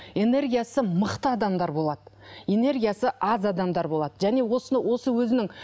энергиясы мықты адамдар болады энергиясы аз адамдар болады және осыны осы өзінің